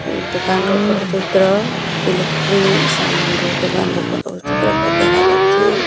ଏଇ ଦୋକାନ ର ଫଟୋ ଚିତ୍ର ଇଲେକ୍ଟ୍ରୀ ସାମନ ର ଦୋକାନ ର ଫଟୋ ଚିତ୍ର ପରି ଦେଖା ଯାଉଛି।